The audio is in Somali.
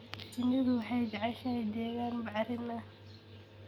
Shinnidu waxay jeceshahay deegaan bacrin ah.